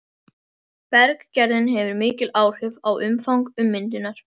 Berggerðin hefur mikil áhrif á umfang ummyndunar.